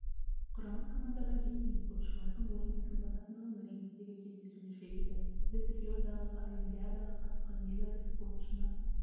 құрама командадан кеткен спортшылардың орнын кім басатындығын рингтегі кездесулер шешеді біз риодағы олимпиадаға қатысқан небәрі боксшыны